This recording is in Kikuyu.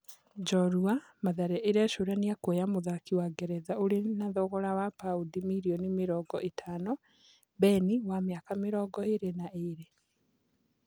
(njorua) Mathare ĩ recũrania kuoya mũthaki wa Ngeretha ũrĩ na thogira wa baũndi mirioni mĩ rongo ĩ tano, Beni wa mĩ aka mĩ rongo ĩ rĩ na ĩ rĩ .